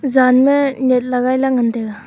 jan ma net laiga ley ngan taiga.